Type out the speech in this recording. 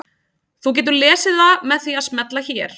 Þú getur lesið það með því að smella hér.